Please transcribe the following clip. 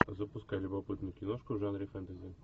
запускай любопытную киношку в жанре фэнтези